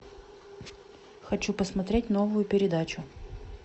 хочу посмотреть новую передачу